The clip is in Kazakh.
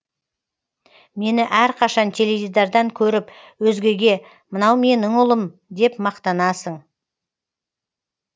мені әрқашан теледидардан көріп өзгеге мынау менің ұлым деп мақтанасың